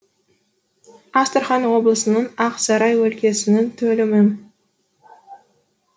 астрахан облысының ақ сарай өлкесінің төлімін